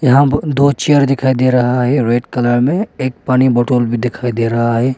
यहां दो चेयर दिखाई दे रहा है रेड कलर में एक पानी बोतल भी दिखाई दे रहा है।